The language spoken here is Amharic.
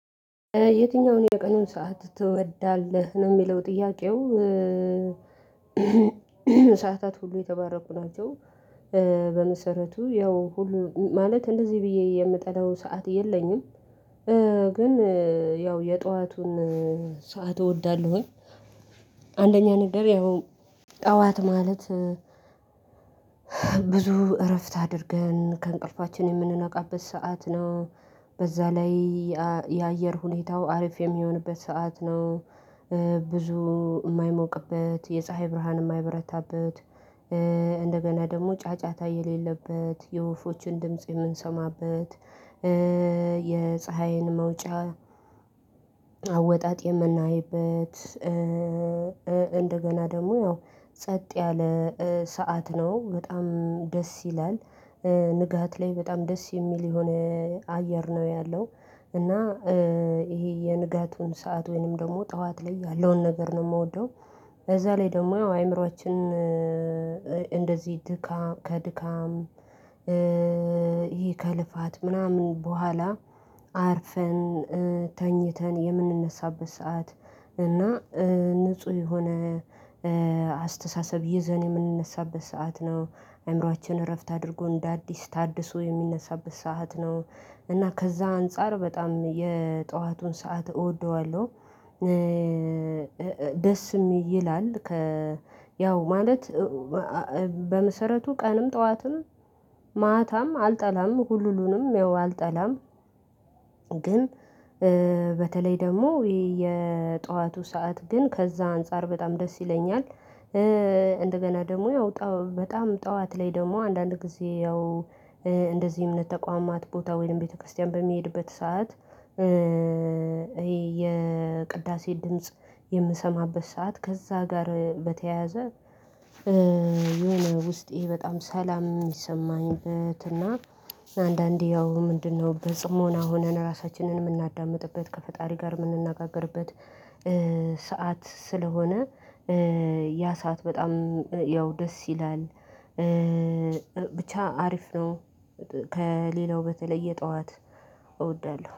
የትኛውን የቀኑን ሰዓት ትወዳለህ ነው የሚለው ጥያቄው? ሰዓታት ሁሉ የተባረኩ ናቸው። በመሰረቱ ያው ሁሉ ማለት እንደዚህ ብዬ የምጠላው ሰዓት የለኝም። ግን ያው የጧቱን ሰዓት እወዳለሁኝ። አንደኛ ነገር ያው ጠዋት ማለት ብዙ እረፍት አድርገን ከእንቅልፋችን የምንነቃበት ሰዓት ነው። በዛ ላይ የአየር ሁኔታው አሪፍ የሚሆንበት ሰዓት ነው። ብዙ የማይሞቅበት የፀሀይ ብርሃን የማይበረታበት እንደገና ደግሞ ጫጫታ የሌለበት የወፎቹን ድምጽ የምንሰማበት የፀሀይን መውጫ አወጣጥ የምናይበት። እንደገና ደግሞ ያው ጸጥ ያለ ሰዓት ነው በጣም ደስ ይላል። ንጋት ላይ በጣም ደስ የሚል የሆነ አየር ነው ያለው። እና ይሄ የንጋቱን ሰዓት ወይንም ደግሞ ጠዋት ላይ ያለውን ነገር ነው የምወደው። እዛ ላይ ደግሞ አይምሮአችን እንደዚህ ድካም ከድካም ይሄ ከልፋት ምናምን በኋላ አርፈን ተኝተን የምንነሳበት ሰዓት እና ንጹህ የሆነ አስተሳሰብ ይዘን የምንነሳበት ሰዓት ነው። አይምሮአችን እረፍት አድርጎ እንደ አዲስ ታድሶ የሚነሳበት ሰዓት ነው። እና ከዛ አንፃር በጣም የጠዋቱን ሰዓት እወደዋለሁ። ደስም ይላል ከ ያው ማለት በመሰረቱ ቀንም ጠዋትም ማታም አልጠላም ሁሉንም ያው አልጠላም። ግን በተለይ ደግሞ የጠዋቱ ሰዓት ግን ከዛ አንፃር በጣም ደስ ይለኛል። እንደገና ደግሞ ያው ጣው በጣም ጠዋት ላይ ደግሞ አንዳንድ ጊዜ ያው እንደዚህ እምነት ተቋማት ቦታ ወይም ቤተክርስቲያን በሚሄድበት ሰዓት ይሄ የቅዳሴ ድምጽ የምሰማበት ሰዓት ከዛ ጋር በተያያዘ። የሆነ ውስጤ በጣም ሰላም የሚሰማኝበት እና አንዳንዴ ያው ምንድነው በጽሞና ሆነን ራሳችንን የምናዳምጥበት ከፈጣሪ ጋር የምንነጋገርበት ሰዓት ስለሆነ ያ ሰዓት በጣም ያው ደስ ይላል። ብቻ አሪፍ ነው። ከሌላው በተለየ ጠዋት እወዳለሁ